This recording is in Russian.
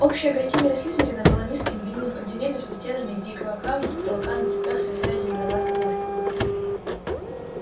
общая гостиная слизерина была низким длинным подземельем со стенами из дикого камня с потолка на цепях свисали зеленоватые лампы